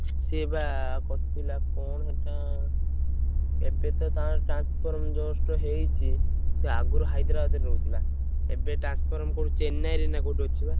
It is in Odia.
ସିଏବା କରି ଥିଲା କଣ ସେଇଟା ଏବେ ତ ତାର transform just ହେଇଚି। ସେ ଆଗୁରୁ ହାଇଦ୍ରାବାଦରେ ରହୁଥିଲା। ଏବେ transform କୋଉଠି ଚେନ୍ନାଇରେ ନା କୋଉଠି ଅଛି ବା।